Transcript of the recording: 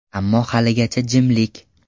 Ammo haligacha jimlik.